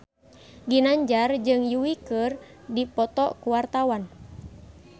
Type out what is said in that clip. Ginanjar jeung Yui keur dipoto ku wartawan